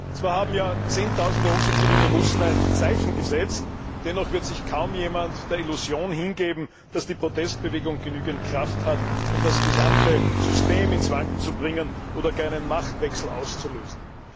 Herr Präsident! Zwar haben Zehntausende unzufriedene Russen ein Zeichen gesetzt, dennoch wird sich kaum jemand der Illusion hingeben, dass die Protestbewegung genügend Kraft hat, um das gesamte System ins Wanken zu bringen oder gar einen Machtwechsel auszulösen.